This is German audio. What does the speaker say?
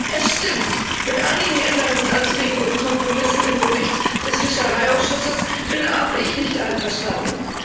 Es stimmt, mit einigen Änderungsanträgen und Kompromissen im Bericht des Fischereiausschusses bin auch ich nicht einverstanden.